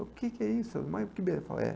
O que que é isso? Mais que benção é essa